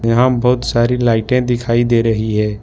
यहां बहुत सारी लाइटें दिखाई दे रही है।